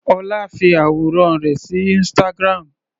Ọlá fi àwòrán rẹ̀ sí instagram.